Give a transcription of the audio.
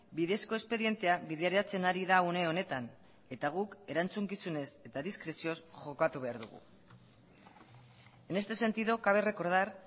bidezko espedientea bideratzen ari da une honetan eta guk erantzukizunez eta diskrezioz jokatu behar dugu en este sentido cabe recordar